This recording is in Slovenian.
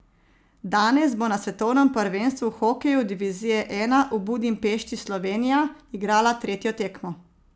Danes bo na svetovnem prvenstvu v hokeju divizije I v Budimpešti Slovenija igrala tretjo tekmo.